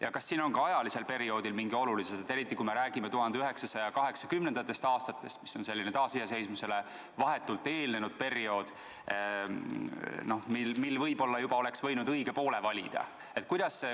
Ja kas siin on ka ajalisel perioodil mingi olulisus, eriti kui me räägime 1980. aastatest, mis on taasiseseisvumisele vahetult eelnenud periood, kui võib-olla oleks võinud juba õige poole valida?